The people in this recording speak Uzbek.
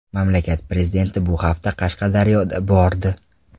Mamlakat prezidenti bu hafta Qashqadaryoda bordi .